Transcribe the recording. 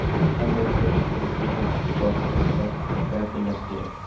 Qanday qilib kunni to‘g‘ri boshlash va yakunlash kerak?.